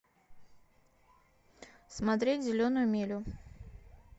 смотреть зеленую милю